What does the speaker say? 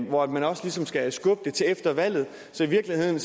hvor man også ligesom skal skubbe det til efter valget så i virkeligheden